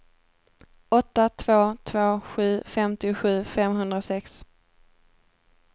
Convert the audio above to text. åtta två två sju femtiosju femhundrasex